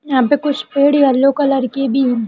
यहा पे कुछ पेड़ येल्लो कलर की भी है।